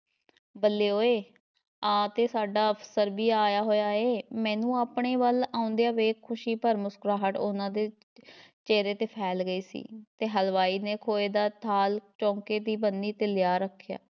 ਬੱਲੇ ਓਏ ਆ ਤੇ ਸਾਡਾ ਅਫਸਰ ਵੀ ਆਇਆ ਹੋਇਆ ਏ, ਮੈਂਨੂੰ ਆਪਣੇ ਵੱਲ ਆਉਂਦਿਆਂ ਵੇਖ ਖੁਸ਼ੀ ਭਰ ਮੁਸਕਰਾਹਟ ਉਹਨਾ ਦੇ ਚਿਹਰੇ ‘ਤੇ ਫੈਲ ਗਈ ਸੀ, ਤੇ ਹਲਵਾਈ ਨੇ ਖੋਏ ਦਾ ਥਾਲ ਚੌਂਕੇ ਦੀ ਬੰਨੀ ‘ਤੇ ਲਿਆ ਰੱਖਿਆ।